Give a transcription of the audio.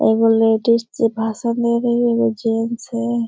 एगो लेडिस जे भाषण दे रही है। एगो जेंट्स है ।